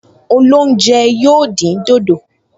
Olóúnjẹ yóò dín dòdò